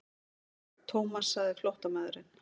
Thomas sagði flóttamaðurinn.